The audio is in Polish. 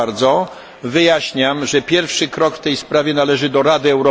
Wyjaśniam, że pierwszy krok w tej sprawie należy do Rady Europejskiej.